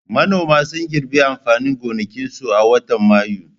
Manoma sun girbe amfanin gonakinsu a watan Mayu.